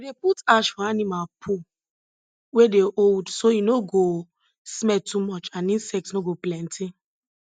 we dey put ash for animal poo we dey hold so e no go smell too much and insects no go plenty